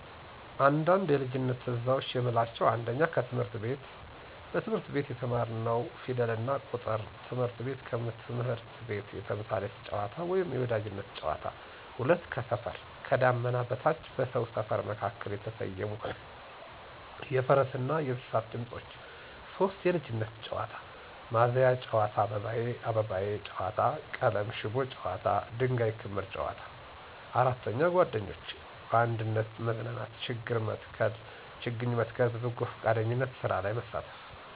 አንዳንድ የልጅነት ትዝታዎች የምንላቸው 1. ከትምህረት ቤት: በትምህርት ቤት የተማርንው ፊደልና ቁጥር። ትምህርት ቤት ከትምህርት ቤት የተምሳሌት ጨዋታ ወይም የወዳጅነት ጨዋታ። 2. ከሰፈር: ከዳመና በታች በሰው ሰፈር መካከል የተሰየሙ የፈረስ ና የእንሰሳት ድምፆች። 3. የልጅነት ጨዋታ: ማዘያ ጨዋታ አባባዬ አባባዬ ጨዋታ ቀለም ሽቦ ጨዋታ ድንጋይ ከምር ጨዋታ። 4. ጓደኞች: በአንድነት መዝናናት ችግኝ መትከል በበጎፍቃደኝነት ስራ ላይ መሳተፍ።